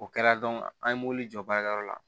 O kɛra an ye mobili jɔ baarakɛyɔrɔ la